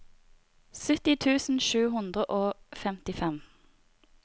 sytti tusen sju hundre og femtifem